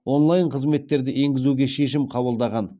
онлайн қызметтерді енгізуге шешім қабылдаған